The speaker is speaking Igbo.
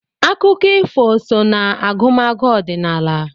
Akụkọ ifo so n'agụmagụ ọdịnala.